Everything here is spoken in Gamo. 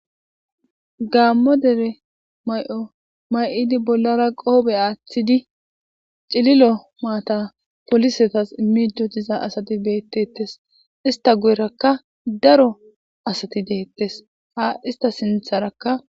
Gaammo dere may'o may'idi bollara qoobe aaththidi cililo maata polisetas immido diza asati beettettes ista guyerakka daro asati deettes ha ista sintharakka.